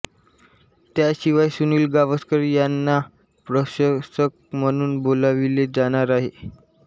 त्याशिवाय सुनील गावस्कर यांना प्रशंसक म्हणून बोलाविले जाणार आहे